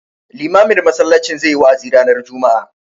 Limamin masallacin zai yi wa'azi ranar juma'a.